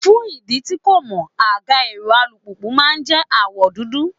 Fún ìdí tí n kò mọ̀, àga èrò alùpùpù máa jẹ́ àwọ̀ dúdú.